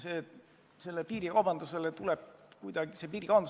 Piirikaubandus tuleb kuidagi kontrolli alla saada.